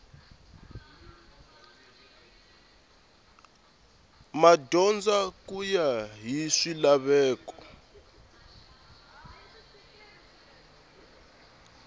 madyondza ku ya hi swilaveko